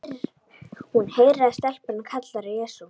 Hún heyrir að stelpan kallar á Jesú.